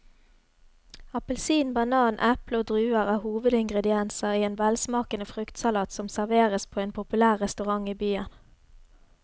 Appelsin, banan, eple og druer er hovedingredienser i en velsmakende fruktsalat som serveres på en populær restaurant i byen.